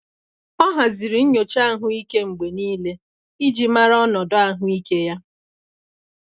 Ọ haziri nyocha ahụike mgbe niile iji mara ọnọdụ ahụike ya.